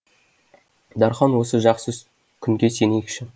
дархан осы жақсы күнге сенейікші